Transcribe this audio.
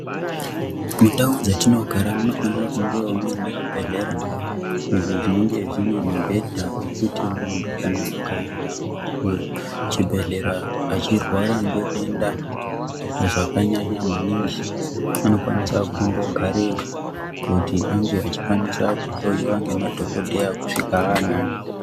Mundau dzatinogara munofanira kungevo muine zvibhedhlera. Izvo zvinenge zvine mibhedha yekuti muntu kana akaenda kuchibhedhlera achirwara ngedenda zvakanyanya maningi. Anokwanisa kutombogareyo kuti ange achikwanisa kuhoiwa ngemadhogodheya kusvika anani.